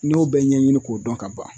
N y'o bɛɛ ɲɛɲini k'o dɔn ka ban.